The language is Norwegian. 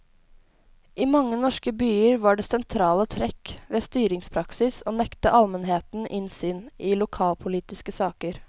I mange norske byer var det sentrale trekk ved styringspraksis å nekte almenheten innsyn i lokalpolitiske saker.